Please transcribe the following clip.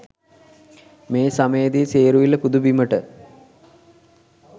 මේ සමයේ දී සේරුවිල පුද බිමට